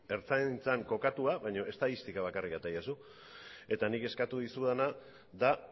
ertzaintzan kokatua baino estatistika bakarrik atera didazu eta nik eskatu dizudana da